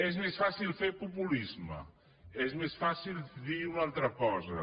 és més fàcil fer populisme és més fàcil dir una altra cosa